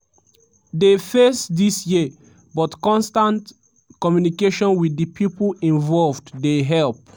dey face dis year but constant communication with di pipo involved dey help.